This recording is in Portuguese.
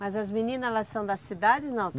Mas as menina, elas são da cidade, não?